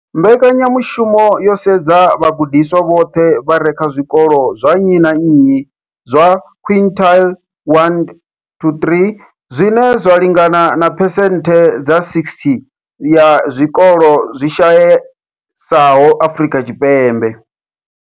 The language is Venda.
Mbekanya mushumo yo sedza vhagudiswa vhoṱhe vha re kha zwikolo zwa nnyi na nnyi zwa quintile 1-3, zwine zwa lingana na phesenthe dza 60 ya zwikolo zwi shayesaho Afrika Tshipembe.